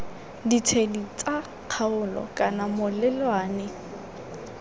ditshedi tsa kgaolo kana melelwane